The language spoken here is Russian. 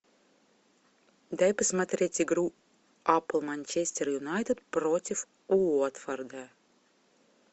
дай посмотреть игру апл манчестер юнайтед против уотфорда